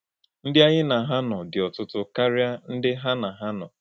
Ndí ányí na hà nọ dị́ ọ̀tụ̀tụ̀ káríá ndí hà na hà nọ.